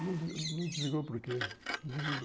Não não desligou por quê?